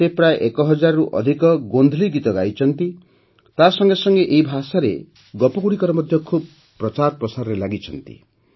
ସେ ପ୍ରାୟ ଏକହଜାରରୁ ଅଧିକ ଗୋଂଧଲୀ ଗୀତ ଗାଇଛନ୍ତି ତାସଙ୍ଗେ ସଙ୍ଗେ ଏହି ଭାଷାରେ ଗପଗୁଡ଼ିକର ମଧ୍ୟ ଖୁବ୍ ପ୍ରଚାର ପ୍ରସାର କରିଛନ୍ତି